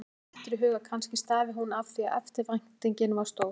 Honum dettur í hug að kannski stafi hún af því hvað eftirvæntingin var stór.